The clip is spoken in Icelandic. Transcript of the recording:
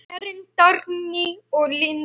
Karen, Dagný og Linda.